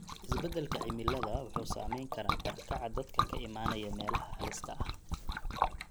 Isbeddelka cimilada wuxuu saameyn karaa barakaca dadka ka imanaya meelaha halista ah.